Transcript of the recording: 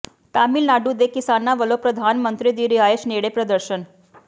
ਤਾਮਿਲਨਾਡੂ ਦੇ ਕਿਸਾਨਾਂ ਵੱਲੋਂ ਪ੍ਰਧਾਨ ਮੰਤਰੀ ਦੀ ਰਿਹਾਇਸ਼ ਨੇੜੇ ਪ੍ਰਦਰਸ਼ਨ